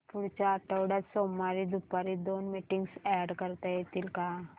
पुढच्या आठवड्यात सोमवारी दुपारी दोन मीटिंग्स अॅड करता येतील का